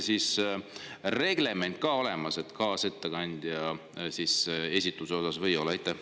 Kas kaasettekandja esituse kohta on ka mingisugune reglement olemas või ei ole?